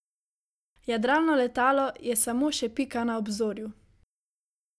Jadralno letalo je samo še pika na obzorju.